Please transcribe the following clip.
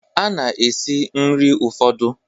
A na-esi nri ụfọdụ